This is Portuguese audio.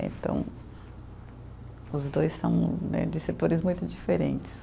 Eh então, os dois são né de setores muito diferentes.